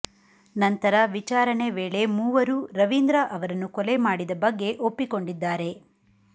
ನಂತರ ವಿಚಾರಣೆ ವೇಳೆ ಮೂವರೂ ರವೀಂದ್ರ ಅವರನ್ನು ಕೊಲೆ ಮಾಡಿದ ಬಗ್ಗೆ ಒಪ್ಪಿಕೊಂಡಿದ್ದಾರೆ